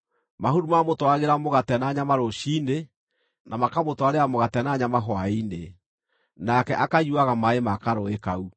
Mahuru maamũtwaragĩra mũgate na nyama rũciinĩ, na makamũtwarĩra mũgate na nyama hwaĩ-inĩ, nake akanyuuaga maaĩ ma karũũĩ kau.